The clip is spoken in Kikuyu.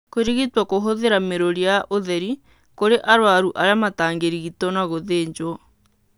Kũrigitwo kũhũthĩra mĩrũri ya ũtheri kũrĩ arũaru arĩa matangĩrigitwo na gũthĩnjwo.